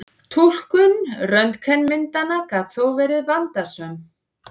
Túlkun röntgenmyndanna gat þó verið vandasöm.